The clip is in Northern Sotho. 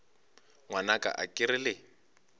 ngwanaka a ke re le